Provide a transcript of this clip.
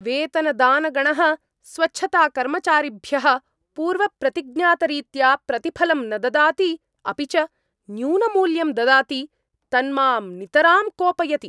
वेतनदानगणः स्वच्छताकर्मचारिभ्यः पूर्वप्रतिज्ञातरीत्या प्रतिफलं न ददाति अपि च न्यूनमूल्यं ददाति तन्मां नितरां कोपयति।